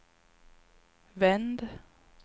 vänd